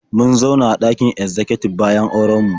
Mun zauna a ɗakin ezzakatib bayan auren mu.